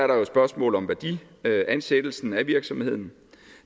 der jo et spørgsmål om værdiansættelsen af virksomheden